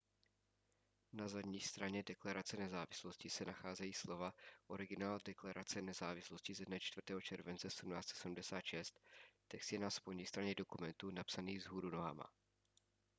na zadní straně deklarace nezávislosti se nacházejí slova originál deklarace nezávislosti ze dne 4. července 1776 text je na spodní straně dokumentu napsaný vzhůru nohama